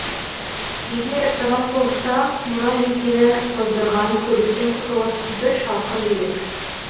егер рас болса мына жүйкені тоздырған көліктен құтылып бір шалқыр едік